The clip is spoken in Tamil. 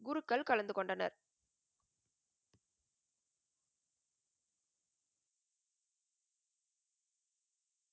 குருக்கள் கலந்து கொண்டனர்.